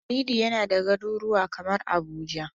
Halidu yana da garuruwa kamar Abuja.